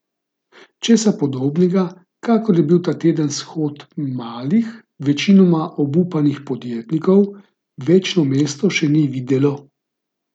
Česa podobnega, kakor je bil ta teden shod malih, večinoma obupanih podjetnikov, večno mesto še ni videlo.